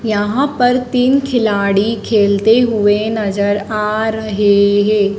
यहां पर तीन खिलाड़ी खेलते हुए नजर आ रहे हैं।